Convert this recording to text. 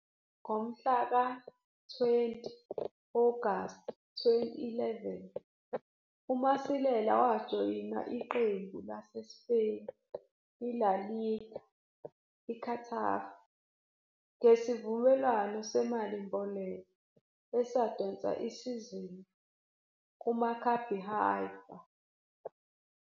Ngomhlaka-20 Agasti 2011, uMasilela wajoyina iqembu laseSpain iLa Liga iGetafe ngesivumelwano semalimboleko esadonsa isizini kuMaccabi Haifa.